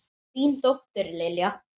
Þín dóttir, Lilja.